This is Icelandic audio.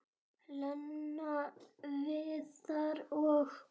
Lena, Viðar og